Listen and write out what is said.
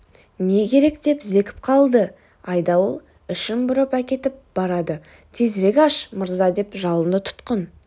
не керек деп зекіп қалды айдауыл ішім бұрап әкетіп барады тезірек аш мырза деп жалынды тұтқын